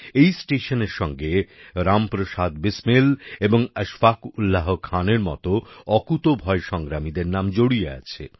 এই স্টেশনের সঙ্গে রামপ্রসাদ বিসমিল এবং আশফাক উল্লাহ খানের মতো অকুতোভয় সংগ্রামীদের নাম জড়িয়ে আছে